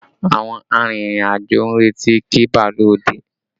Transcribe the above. Àwọn arìnrìn-àjò ń retí kí bàálù ó dé